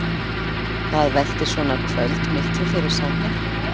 Hvað veltir svona kvöld miklu fyrir Samhjálp?